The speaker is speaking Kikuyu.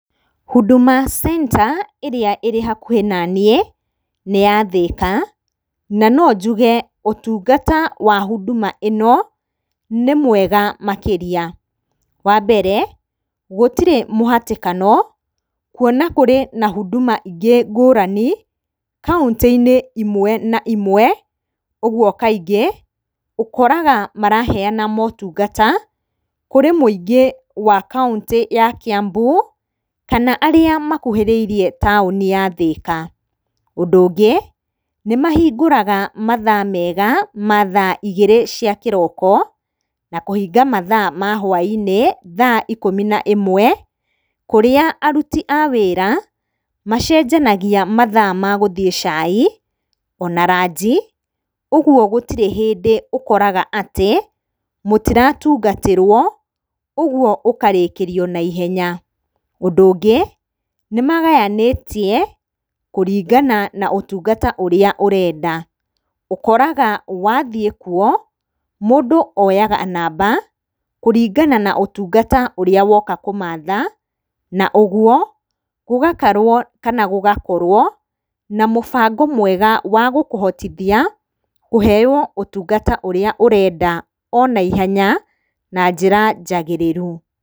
Huduma center ĩrĩa ĩrĩ hakuhĩ naniĩ nĩ ya Thĩka, na nonjuge ũtungata wa huduma ĩno nĩ mwega makĩria. Wa mbere, gĩtirĩ na mũhatĩkano kuona kũrĩ na huduma ingĩ ngũrani kauntĩ-inĩ imwe na imwe, ũguo kaingĩ ũkoraga maraheana motungata kũrĩ mũingĩ wa kauntĩ ya Kĩambu, kana arĩa makuhĩrĩirie taũni ya Thĩka. Ũndũ ũngĩ, nĩmahingũraga mathaa mega, ma thaa igĩrĩ cia kĩroko, na kũhinga mathaa mahwa-inĩ thaa ikũmi na ĩmwe, kũrĩa aruti a wĩra macenjanagia mathaa magũthiĩ cai ona ranji, ũguo gũtirĩ hĩndĩ ũkoraga atĩ mũtiratungatwo, ũguo mũkarĩkĩrio na ihenya. Ũndũ ũngĩ, nĩmagayanĩtie kũringana na ũtungata ũrĩa ũrenda. Ũkoraga wathiĩkuo, mũndũ oyaga namba kũringana na ũtungata ũrĩa woka kũmatha, na ũguo gũgakarwo kana gũgakorwo na mũbango mwega wagũkũhotithia kũheyo ũtungata ũrĩa ũrenda ona ihenya na njĩra njagĩrĩru.